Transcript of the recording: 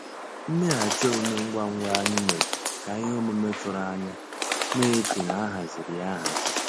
Mmèghàchị́ òmùmé ngwá ngwá ànyị́ mérè ká íhé òmùmé tụ̀rụ̀ ànyá ná-èchè ná á hàzírí yá áhàzí.